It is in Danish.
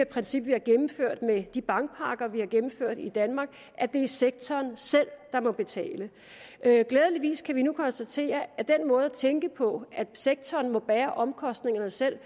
princip vi har gennemført med de bankpakker vi har gennemført i danmark at det er sektoren selv der må betale glædeligvis kan vi nu konstatere at den måde at tænke på at sektoren må bære omkostningerne selv